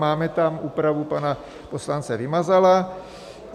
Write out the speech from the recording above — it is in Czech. Máme tam úpravu pana poslance Vymazala.